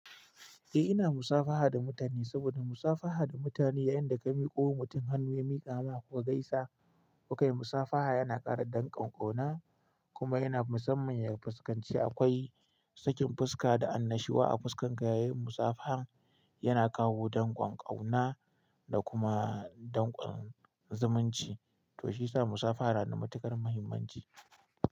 Eh ina musafaha da mutane saboda musafaha da mutane yayin da ka miƙo mutum hannu ya miƙa maka kuka gaisa. Kukai musafaha yana ƙara dan ƙon ƙauna kuma yana musamman ya fuskanci a. Akwai sakin fuska da annashuwa a fuskan ka yayin musafaha yana kawo danƙon ƙauna da kuma danƙon zumunci to shiyasa musafaha na da matuƙar muhimmanci.